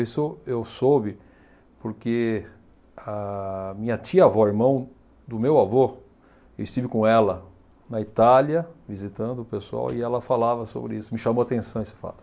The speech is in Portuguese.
Isso eu soube porque a minha tia-avó, irmão do meu avô, eu estive com ela na Itália visitando o pessoal e ela falava sobre isso, me chamou atenção esse fato.